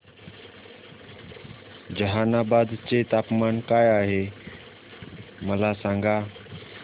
जहानाबाद चे तापमान काय आहे मला सांगा